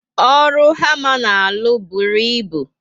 Ọrụ hama na alụ bụrụ ịbụ